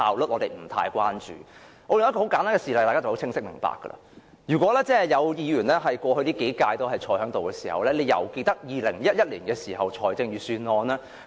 我在此列舉一個簡單事例，大家便會明白：如果有同事於過去數屆均擔任議員，便會記得2011年的財政預算案。